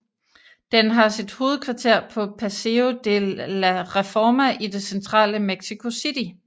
Den har sit hovedkvarter på Paseo de la Reforma i det centrale Mexico City